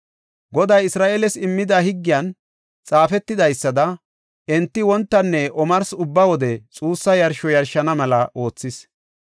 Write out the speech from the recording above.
Goday Isra7eeles immida higgiyan xaafetidaysada enti wontanne omarsi ubba wode xuussa yarsho yarshana mela oothis.